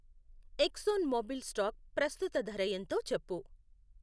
ఎక్సోన్ Mobil stock ప్రస్తుత ధర ఎంతో చెప్పు.